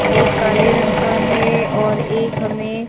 एक काले रंग का है और एक हमें--